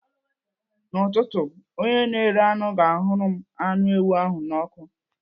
N'ụtụtụ, onye na-ere anụ ga-ahụrụ m anụ ewu ahụ n'ọkụ.